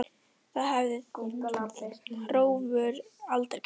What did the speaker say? Það hefði Hrólfur aldrei gert.